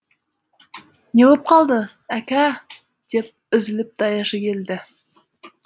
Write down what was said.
не боп қалды әка деп үзіліп даяшы келді